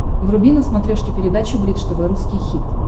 вруби на смотрешке передачу бридж тв русский хит